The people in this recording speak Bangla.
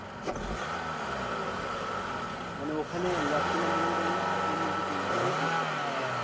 হ্যাঁ মানে ওখানে লটকনের দোকান করবি, না আরও অন্যকিছু সব জিনিসপত্র রাখবি?